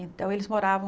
Então eles moravam...